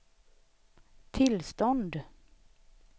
tillstånd